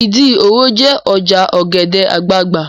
Ìdí òro jẹ́ ọjà ọ̀gẹ̀dẹ̀ àgbagbà